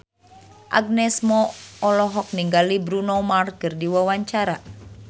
Agnes Mo olohok ningali Bruno Mars keur diwawancara